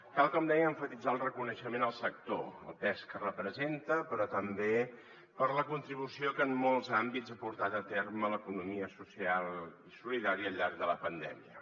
cal com deia emfatitzar el reconeixement al sector el pes que representa però també la contribució que en molts àmbits ha portat a terme l’economia social i solidària al llarg de la pandèmia